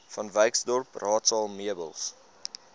vanwyksdorp raadsaal meubels